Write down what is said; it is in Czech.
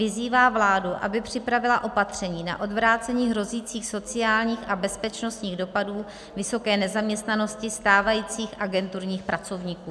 Vyzývá vládu, aby připravila opatření na odvrácení hrozících sociálních a bezpečnostních dopadů, vysoké nezaměstnanosti stávajících agenturních pracovníků."